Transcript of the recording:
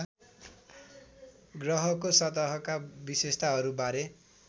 ग्रहको सतहका विशेषताहरूबारे